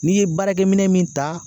N'i ye baarakɛminɛ min ta